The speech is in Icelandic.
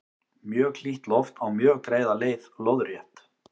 mjög hlýtt loft á mjög greiða leið lóðrétt